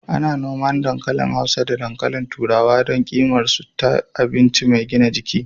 Ana noman dankali hausa da dankalin turawa don ƙimar su ta abinci mai gina jiki.